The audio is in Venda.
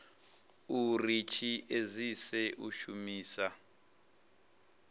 uri tshi edzise u shumisa